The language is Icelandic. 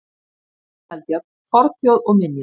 Kristján Eldjárn: Fornþjóð og minjar.